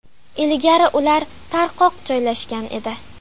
Ilgari ular tarqoq joylashgan edi.